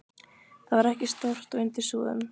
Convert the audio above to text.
Það var ekki stórt og undir súðum.